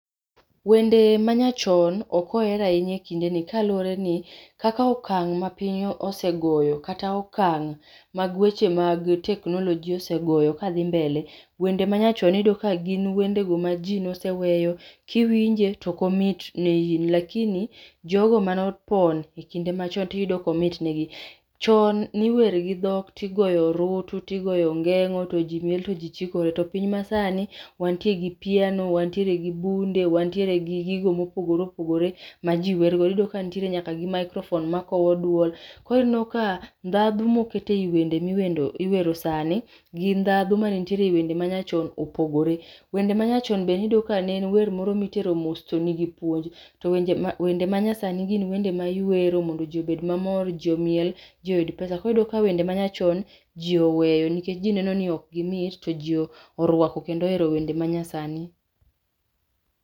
Wende manyachon ok oher ahinya ekindeni kalureni kaka okang' mapiny osegoyo kata okang' mag weche mag technology osegoyo kadhi mbele wende manyachon iyudo ka gin wende mane jii noseweyo kiwinje to oko imit ne in lakini jogo mane opon ekinde machon to iyudo ka omitnegi. Chon ni wer gi dhok ti goyo orutu, ti goyo ongeng'o to ji miel to ji chikore. To piny ,masani wantie gi piano wantiere gi bunde wantieregi gigo mopogore opogore maji werrgo iyudo ka nitiere nyaka gi microphone makowo duol. Koro ineno ka ndhadhu mokete eyi wende miwero sani gi ndhadhu mane nitiere ewende manyachon opogore. Wende manyachon be ne iyudo ka ne en wer mane itero mos to nigi puonj to wende manyasani iwero mondo ji obed mamor ji omiel ji oyud pesa koro iyudo ka wende manyachon ji oweyo nikech jii neno ni ok mit to jii orwako kendo ohero wende manyasani.